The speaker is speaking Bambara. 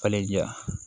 Falen ja